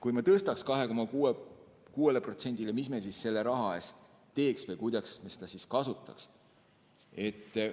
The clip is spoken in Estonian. Kui me suurendaks kaitsekulutusi 2,6%-ni, siis mida me selle raha eest teeks või kuidas me seda kasutaks?